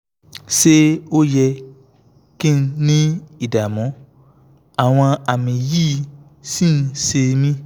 ṣé ó yẹ kí n ní ìdààmú àwọn àmì yìí sì ń ṣe mí?